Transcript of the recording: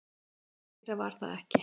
Meira var það ekki.